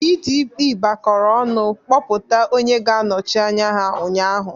PDP gbakọrọ ọnụ kpọpụta onye ga-anọchi anya ha ụnyaahụ.